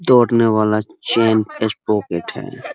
दौड़ने वाला chain sprocket है।